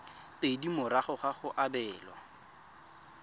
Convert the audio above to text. pedi morago ga go abelwa